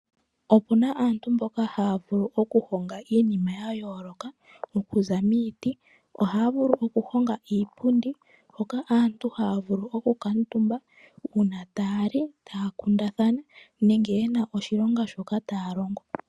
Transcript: Opu na aantu mboka haya vulu okuhonga iinima ya yooloka okuza miiti. Ohaya vulu okuhonga iipundi hoka aantu haya vulu okukuutumba uuna taya li, taya kundathna nenge ye na oshilonga shoka taya longo.